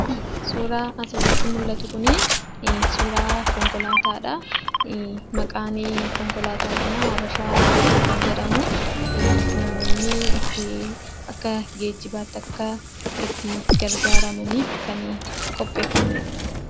Suuraa asirratti mullatu kunii suuraa konkolaataadhaa. Maqaanii konkolaataa kanaa "habeshaa baasii" kan jedhamuu. Namoonni ittii akkaa geejjibaatti akkaa ittii gargaaramaniif kanii qopheeffamedha.